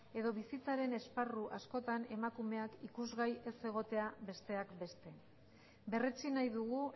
edo bizitzaren esparru askotan emakumeak ikusgai ez egotea besteak beste berretsi nahi dugu